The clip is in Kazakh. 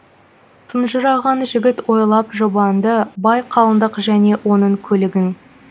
тұнжыраған жігіт ойлап жұбанды бай қалыңдық және оның көлігін